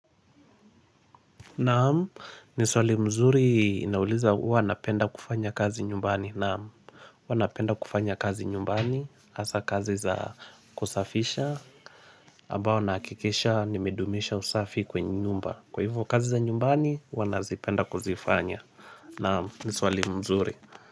Na'am, ni swali mzuri inauliza huwa napenda kufanya kazi nyumbani. Na'am huwa napenda kufanya kazi nyumbani hasa kazi za kusafisha. Ambao nahakikisha nimedumisha usafi kwenye nyumba. Kwa hivyo kazi za nyumbani huwa nazipenda kuzifanya, na'am ni swali mzuri.